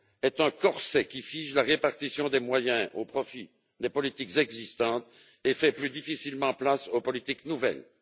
est un corset qui fige la répartition des moyens au profit des politiques existantes et fait plus difficilement place aux politiques nouvelles.